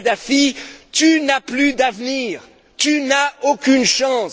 Kadhafi Tu n'as plus d'avenir, tu n'as aucune chance!.